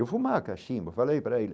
Eu fumava cachimbo, falei para ele,